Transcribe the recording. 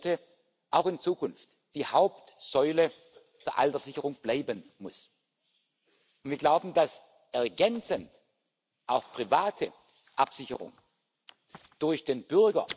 rights. To this end, Member States are working hard to ensure that the gender income and pay gap is closing. It is well known that the gender pay gap is amplified in